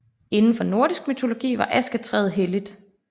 Inden for nordisk mytologi var asketræet helligt